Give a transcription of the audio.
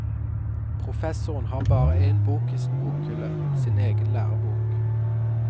Professoren har bare en bok i sin bokhylle, sin egen lærebok.